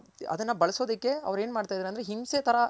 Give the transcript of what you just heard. ಅದನ್ನ ಬಳಸೋದಕ್ ಅವ್ರ್ ಏನ್ ಮಾಡ್ತಾ ಇದಾರ್ ಅಂದ್ರೆ ಹಿಂಸೆ ತರ